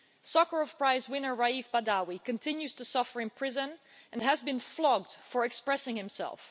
Sakharov Prize winner Raif Badawi continues to suffer in prison and has been flogged for expressing himself.